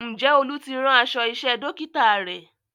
Ǹjẹ́ Olú ti rán aṣọ iṣẹ́ Dókítà rẹ̀?